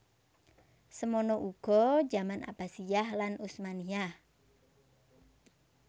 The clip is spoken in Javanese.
Semono uga jaman Abbasiyah lan Utsmaniyah